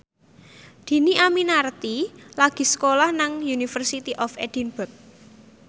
Dhini Aminarti lagi sekolah nang University of Edinburgh